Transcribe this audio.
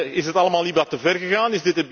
Is het allemaal niet wat te ver gegaan?